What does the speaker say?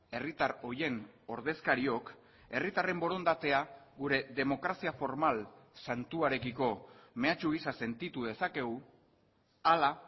herritar horien ordezkariok herritarren borondatea gure demokrazia formal santuarekiko mehatxu gisa sentitu dezakegu ala